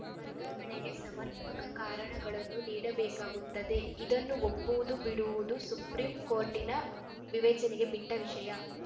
ವರ್ಗಾವಣೆಗೆ ಸಮರ್ಪಕ ಕಾರಣಗಳನ್ನೂ ನೀಡಬೇಕಾಗುತ್ತದೆ ಇದನ್ನು ಒಪ್ಪುವುದು ಬಿಡುವುದು ಸುಪ್ರೀಂ ಕೋರ್ಟಿನ ವಿವೇಚನೆಗೆ ಬಿಟ್ಟವಿಷಯ